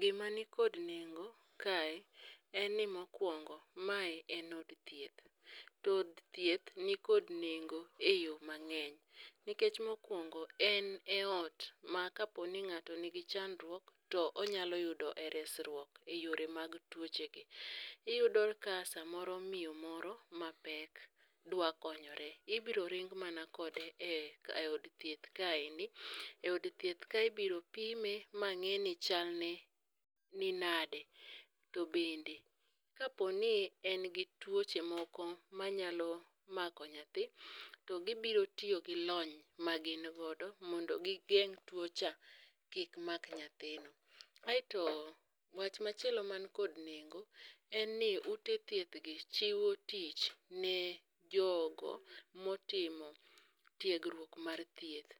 Gima nikod nengo kae en ni mokwongo mae en od thieth. To od thieth nikod nengo e yo mang'eny. Nikech mokwongo en e ot ma kaponi ng'ato nigi chandruok to onyalo yudo e resruok e yore mag tuoche gi. Iyudo ka samoro miyo moro mapek dwa konyore, ibro ring mana kode e eod thieth kaeni. E od thieth ka ibiro pime ma ng'e ni chalne ni nade. To bende kaponi en gi tuoche moko manyalo mako nyathi, to gibiro tiyo gi lony ma gin godo. Mondo gigeng' tuo cha kik mak nyathino. Aeto wach machielo man kod nengo en ni ute thieth gi chiwo tich ne jogo motimo tiegruok mar thieth.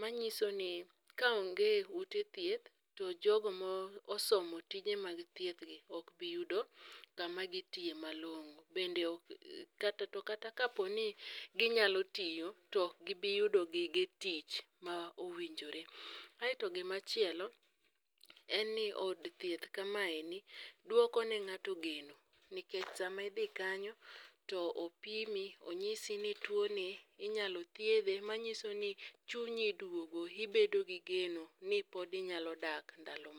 Manyiso ni kaonge ute thieth to jogo mo osomo tije mag thieth gi ok biyudo kama gitiye malong'o. Bende ok kata to kata kaponi ginyalo tiyo to ok gibi yudo gige tich ma owinjore. Aeto gimachielo, en ni od thieth kamaeni, dwoko ne ng'ato geno. Nikech sama idhi kanyo, to opimi, onyisi ni tuoni inyalo thiedhe manyiso ni chunyi duogo. Ibedo gi geno ni pod inyalo dak ndalo ma.